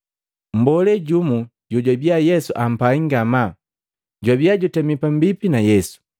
Mmbolee jumu, jojwabia Yesu ampai ngamaa, jwabia jutemi pambipi na Yesu.